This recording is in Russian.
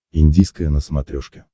индийское на смотрешке